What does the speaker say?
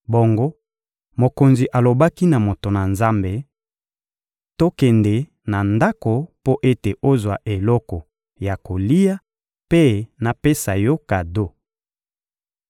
Bongo mokonzi alobaki na moto na Nzambe: — Tokende na ndako mpo ete ozwa eloko ya kolia mpe napesa yo kado.